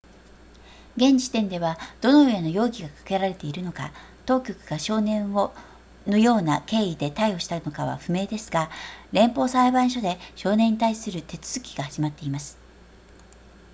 現時点ではどのような容疑がかけられているのか当局が少年をのような経緯で逮捕したのかは不明ですが連邦裁判所で少年に対する手続きが始まっています